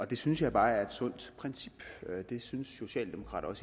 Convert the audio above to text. det synes jeg bare er et sundt princip og det syntes socialdemokrater